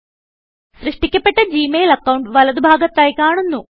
സൃഷ്ട്ടിക്കപെട്ട Gmail account വലതു ഭാഗത്തായി കാണുന്നു